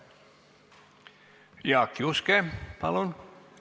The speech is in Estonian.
Jaak Juske, palun!